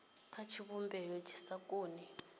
kha tshivhumbeo tshi sa koni